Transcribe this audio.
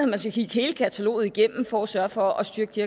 man skal kigge hele kataloget igennem for at sørge for at styrke de